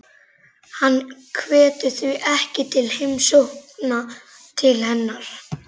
Hann hvetur því ekki til heimsókna til hennar.